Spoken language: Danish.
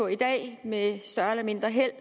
i dag med større eller mindre held